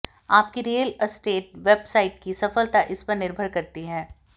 आपकी real estate website की सफलता इस पर निर्भर करती है